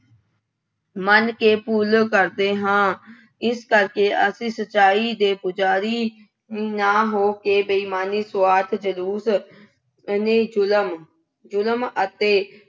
ਮੰਨ ਕੇ ਪੂਜਾ ਕਰਦੇ ਹਾਂ। ਇਸ ਕਰਕੇ ਅਸੀਂ ਸੱਚਾਈ ਦੇ ਪੁਜਾਰੀ ਨਾ ਹੋ ਕੇ ਬੇਈਮਾਨੀ, ਸੁਆਰਥ, ਜ਼ਲੂਤ ਅਹ ਨਹੀਂ ਜੁਲਮ ਜੁਲਮ ਅਤੇ